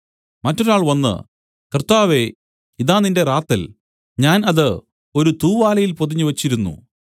മറ്റൊരാൾ വന്നു കർത്താവേ ഇതാ നിന്റെ റാത്തൽ ഞാൻ അത് ഒരു തൂവാലയിൽ പൊതിഞ്ഞു വെച്ചിരുന്നു